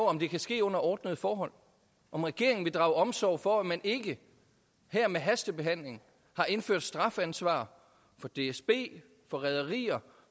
om det kan ske under ordnede forhold og om regeringen vil drage omsorg for at man ikke med hastebehandlingen har indført strafansvar for dsb for rederier